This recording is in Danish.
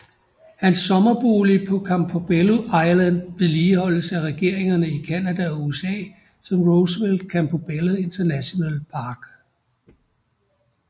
Hans sommerbolig på Campobello Island vedligeholdes af regeringerne i Canada og USA som Roosevelt Campobello International Park